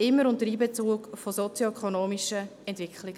Dies immer unter Einbezug sozioökonomischer Entwicklungen.